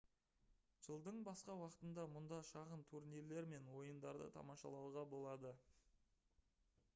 жылдың басқа уақытында мұнда шағын турнирлер мен ойындарды тамашалауға болады